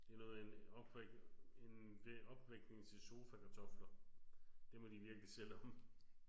Det er noget med en opvæk en det opvækning til sofakartofler. Det må de virkelig selv om